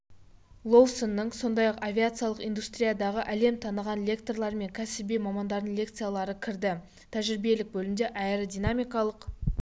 лоусонның сондай-ақ авиациялық индустриядағы әлем таныған лекторлар мен кәсіби мамандардың лекциялары кірді тәжірибелік бөлімде аэродинамикалық